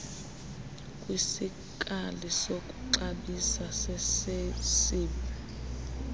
kwisikali sokuxabisa sasesib